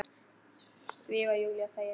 Því var Júlía fegin.